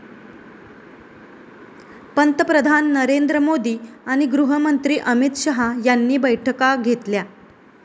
पंतप्रधान नरेंद्र मोदी आणि गृहमंत्री अमित शहा यांनी बैठका घेतल्या.